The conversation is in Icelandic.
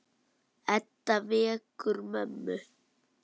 Edda vekur mömmu.